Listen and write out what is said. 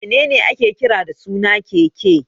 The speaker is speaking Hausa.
Me ne ne ake kira da suna keke?